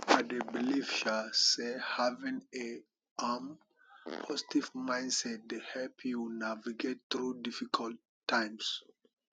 i dey believe um say having a um positive mindset dey help you navigate through difficult times